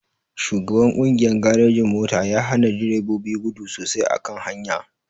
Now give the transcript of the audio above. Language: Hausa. Shugaban kungiyan garejin-mota yahana direbobi gudu sosai a kan hanya.